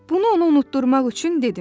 Bunu ona unutdurmaq üçün dedim: